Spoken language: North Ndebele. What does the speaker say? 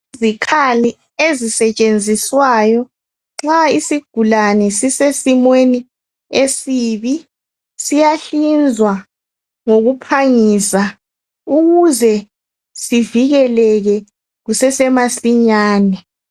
Izikhali ezisetshenziswayo nxa isigulani sisesimweni esibi siyahlinzwa ngokuphangisa ukuze sivikeleke kusesemasinyane.